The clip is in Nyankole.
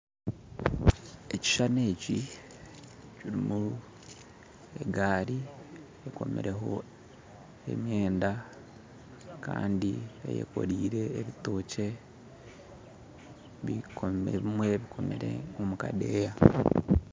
Ekishushani eki kirimu egaari ekomireho emyenda kandi eyekorire ebitookye bikomirwe ebimwe bikomire omukadeeya